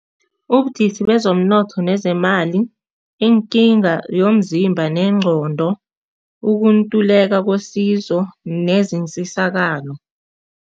Ubudisi bezomnotho nezemali, iinkinga yomzimba nengqondo, ukuntuleka kwesizo